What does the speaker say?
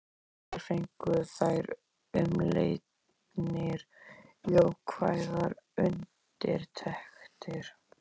Báðar fengu þær umleitanir jákvæðar undirtektir.